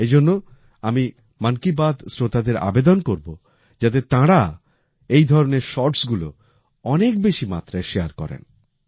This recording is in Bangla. এইজন্য আমি মন কি বাত শ্রোতাদের আবেদন করবো যাতে তাঁরা এইধরনের শর্টস গুলো অনেক বেশি মাত্রায় শারে করেন